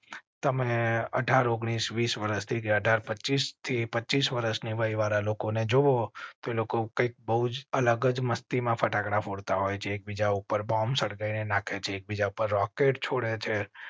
તમે અઢાર ઓગણીસ વિસ વર્ષથી અઢાર પચીસ થી પચીસ વર્ષની વય વાળા લોકોને જો લોકો કઈ અલગ જ મસ્તી માં ફટાકડા ફોડ તા હોય છે. એકબીજા ઉપર બોમ્બ સળગાવી નાખે છે. બીજા પર રોકેટ છોડ્યા છે